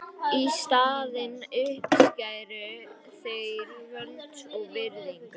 Í staðinn uppskæru þeir völd og virðingu.